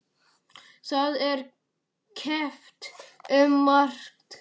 Það er keppt um margt.